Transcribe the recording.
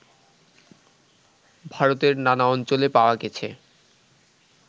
ভারতের নানা অঞ্চলে পাওয়া গেছে